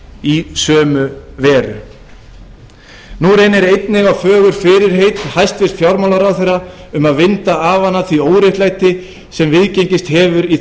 í sömu veru nú reynir einnig á fögur fyrirheit hæstvirtur fjármálaráðherra um að vinda ofan af því óréttlæti sem viðgengist hefur í